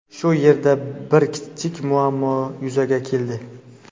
Shu yerda bir kichik muammo yuzaga keldi.